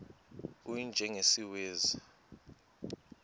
u y njengesiwezi